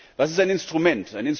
Was ist ein Instrument?